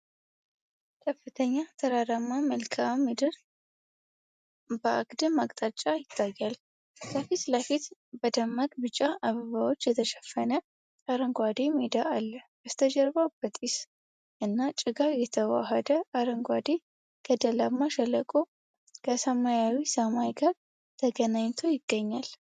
ከፍተኛ ተራራማ መልክዓ ምድር በአግድም አቅጣጫ ይታያል። ከፊት ለፊት፣ በደማቅ ቢጫ አበባዎች የተሸፈነ አረንጓዴ ሜዳ አለ። በስተጀርባ በጢስ እና ጭጋግ የተዋሃደ አረንጓዴ ገደላማ ሸለቆ ከሰማያዊ ሰማይ ጋር ተገናኝቶ ይገኛል።